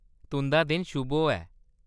तुंʼदा दिन शुभ होऐ .